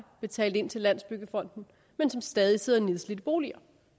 betalt ind til landsbyggefonden men som stadig sidder i nedslidte boliger